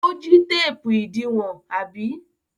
Ó jí téépù ìdiwọn, àbí?